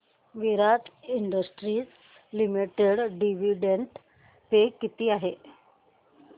विराट industries limited dividend pay किती आहे